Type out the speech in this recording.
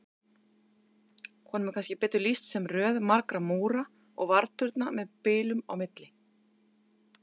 Honum er kannski betur lýst sem röð margra múra og varðturna með bilum á milli.